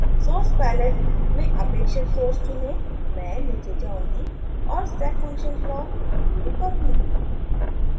sources palette में अपेक्षित source चुनें मैं नीचे जाऊँगी और step function block उपयोग करुँगी